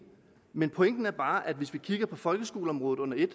men pointen er bare at hvis vi kigger på folkeskoleområdet under et